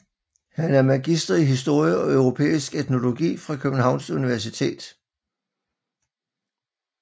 Han er magister i historie og europæisk etnologi fra Københavns Universitet